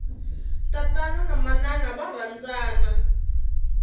tatana na manana va rhandzana